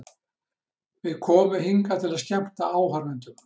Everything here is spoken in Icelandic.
Við komum hingað til að skemmta áhorfendum.